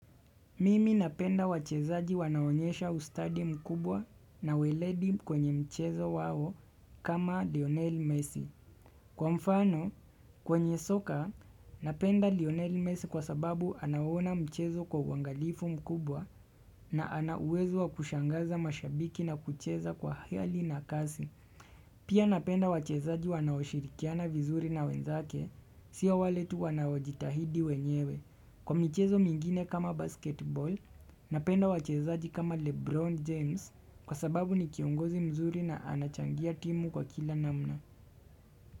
Mimi napenda wachezaji wanaonyesha ustadi mkubwa na weledi kwenye mchezo wao kama Lionel Messi. Kwa mfano, kwenye soka, napenda Lionel Messi kwa sababu anaona mchezo kwa uangalifu mkubwa na ana uwezo wa kushangaza mashabiki na kucheza kwa hiali na kasi. Pia napenda wachezaji wanaoshirikiana vizuri na wenzake, sio wale tu wanaojitahidi wenyewe. Kwa michezo mingine kama basketball na penda wachezaji kama Lebron James kwa sababu ni kiongozi mzuri na anachangia timu kwa kila namna.